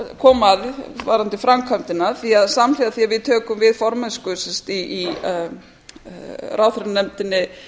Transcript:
koma að varðandi framkvæmdina því samhliða því að við tökum við formennsku í norrænu ráðherranefndinni